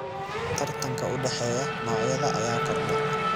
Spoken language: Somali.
Tartanka u dhexeeya noocyada ayaa kordha.